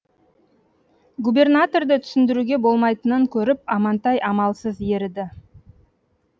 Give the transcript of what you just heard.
губернаторды түсіндіруге болмайтынын көріп амантай амалсыз еріді